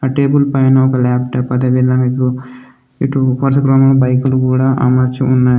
ఆ టేబుల్ పైన ఒక లాప్టాప్ అదేవిధంగా ఇటు ఉపాసక్రమంలో బైకులు కూడా అమర్చి ఉన్నాయి.